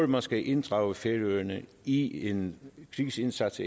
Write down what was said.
man skal inddrage færøerne i en krigsindsats